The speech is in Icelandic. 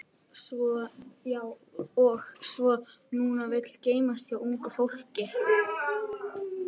Og svona vill nú gleymast hjá ungu fólki.